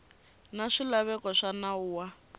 na swilaveko swa nawu wa